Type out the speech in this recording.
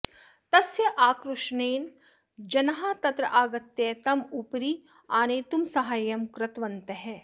तस्य आक्रोशनेन जनाः तत्र आगत्य तम् उपरि आनेतुं साहाय्यं कृतवन्तः